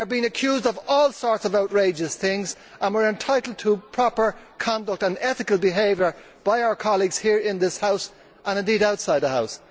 We are being accused of all sorts of outrageous things, and we are entitled to proper conduct and ethical behaviour by our colleagues here in this House, and indeed outside the House.